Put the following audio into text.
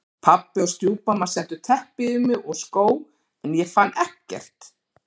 Pabbi og stjúpmamma settu teppi yfir mig og skó en ég fann ekkert.